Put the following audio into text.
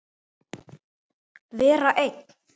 Vera einn?